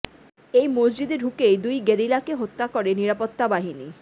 এই মসজিদে ঢুকেই দুই গেরিলাকে হত্যা করে নিরাপত্তা বাহিনী